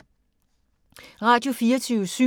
Radio24syv